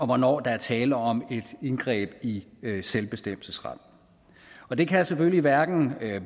hvornår der er tale om et indgreb i selvbestemmelsesretten og det kan selvfølgelig hverken